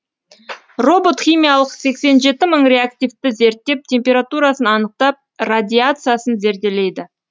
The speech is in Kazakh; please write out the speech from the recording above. робот химиялық сексен жеті мың реактивті зерттеп температурасын анықтап радиациясын зерделейді